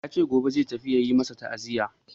Ya ce gobe zai tafi ya yi masu ta'aziya.